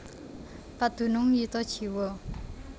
Padunung yuta jiwa